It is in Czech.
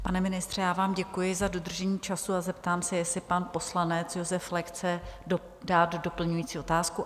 Pane ministře, já vám děkuji za dodržení času a zeptám se, jestli pan poslanec Josef Flek chce dát doplňující otázku?